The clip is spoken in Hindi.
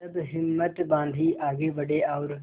तब हिम्मत बॉँधी आगे बड़े और